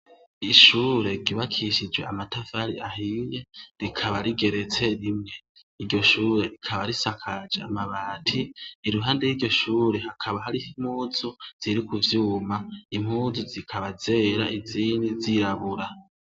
Ishure ryubakishije amatafari ahiye rikaba rigeretse rimwe, iryo shure rikaba risakaje amabati, iruhande y'iryo shure hakaba hariho impuzu ziri ku vyuma, impuzu zikaba zera izindi zirabura.